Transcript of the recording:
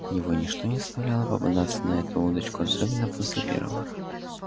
его ничто не заставляло попадаться на эту удочку особенно после первого раза